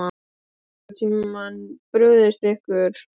Höfum við nokkurn tímann brugðist ykkur?